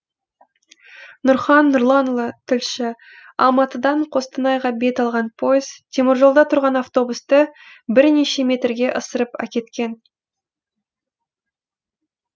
нұрхан нұрланұлы тілші алматыдан қостанайға бет алған пойыз теміржолда тұрған автобусты бірнеше метрге ысырып әкеткен